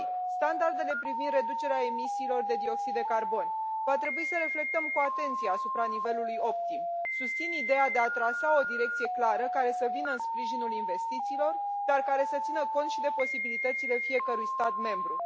standardele privind reducerea emisiilor de dioxid de carbon va trebui să reflectăm cu atenție asupra nivelului optim. Susțin ideea de a trasa o direcție clară care să vină în sprijinul investițiilor, dar care să țină cont și de posibilitățile fiecărui stat membru.